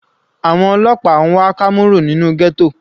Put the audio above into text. Àwọn ọlọ́pàá n wá Kamaru nínú ghetto.